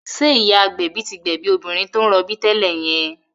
Ṣé ìyá agbẹ̀bí tí gbẹ̀bí obìnrin tó ń rọbí tẹ́lẹ̀ yẹn?